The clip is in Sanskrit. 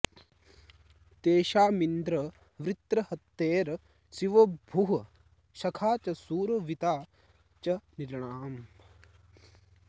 तेषा॑मिन्द्र वृत्र॒हत्ये॑ शि॒वो भूः॒ सखा॑ च॒ शूरो॑ऽवि॒ता च॑ नृ॒णाम्